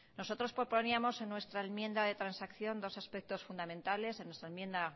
nosotros proponíamos en nuestra enmienda de transacción dos aspectos fundamentales perdón en nuestra enmienda